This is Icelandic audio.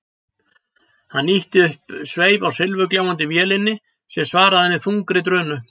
Hafliði ýtti upp sveif á silfurgljáandi vélinni sem svaraði með þungri drunu.